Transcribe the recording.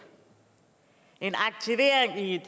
en aktivering i et